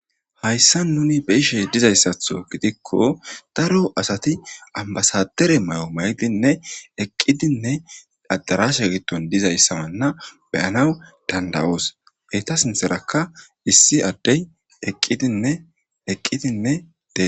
Hayissan nuni beyishshe dizayssaththo gidikko daro asati ambasadare mayo maydinne eqidinne adarashsha gidon dizaysana beyanaw dandayos eta sinththarakka issi adey eqidinne detes